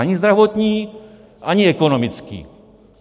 Ani zdravotní, ani ekonomický.